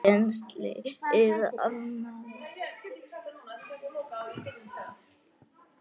Penslið annað slagið með olíu.